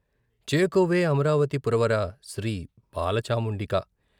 చేకోవే అమరావతి పురవరా శ్రీ బాలచాముండికా.